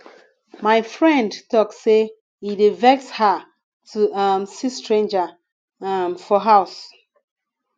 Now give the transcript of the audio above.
my friend tok sey e dey vex her to um see stranger um for house